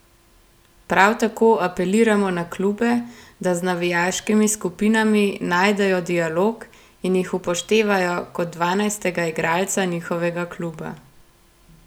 Prav tako apeliramo na klube, da z navijaškimi skupinami najdejo dialog in jih upoštevajo kot dvanajstega igralca njihovega kluba.